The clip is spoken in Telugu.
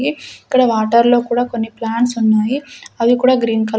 ఇక్కడ వాటర్ లో కూడా కొన్ని ప్లాంట్స్ ఉన్నాయి అవి కూడా గ్రీన్ కల--